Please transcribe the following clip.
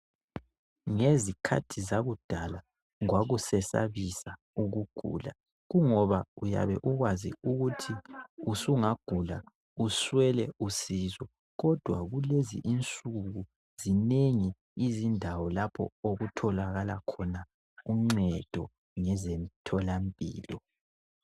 Ngezikhathi zakudala kwakusesabisa ukugula Kungoba uyabe ukwazi ukuthi usungagula uswele usizo kodwa kulezi insuku zinengi izindawo lapho okutholakala khona uncedo ngezemtholampilo.